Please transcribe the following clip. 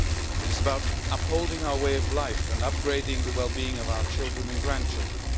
It is about upholding our way of life and upgrading the well being of our children and grandchildren.